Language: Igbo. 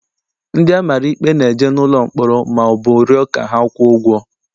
ndị a mara ikpe n' eje n'ụlọ mkpọrọ ma ọ bụ rịọ ka ha kwụọ ụgwọ